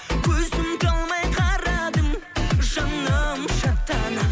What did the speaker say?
көзім талмай қарадым жаным шаттана